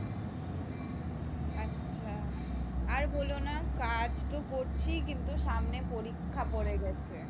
ও আচ্ছা আর বলো না কাজ তো করছি কিন্তু সামনে পরীক্ষা পড়ে গে।